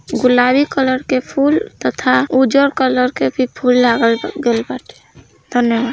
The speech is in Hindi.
गुलाबी कलर के फूल तथा उजर कलर के फूल धन्यवाद।